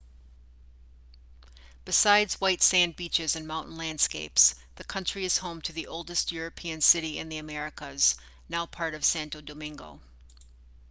besides white sand beaches and mountain landscapes the country is home to the oldest european city in the americas now part of santo domingo